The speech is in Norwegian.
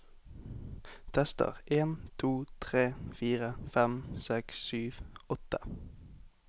Tester en to tre fire fem seks sju åtte